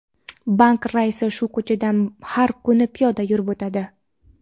banki raisi shu ko‘chadan har kuni piyoda yurib o‘tadi.